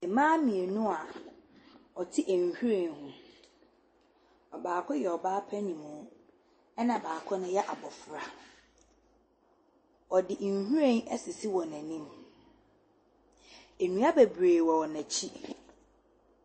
Mmaa mmienu a wɔte nhwiren ho, ɔbaako yɛ ɔbaa paninmu na baako ne yɛ abɔfra, wɔde nhwiren asisi wɔn anim, nnua bebree wɔ wɔn akyi.